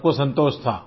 सब को संतोष था